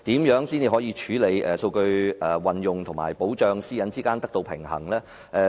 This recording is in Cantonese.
如何在處理數據運用和保障私隱之間得到平衡？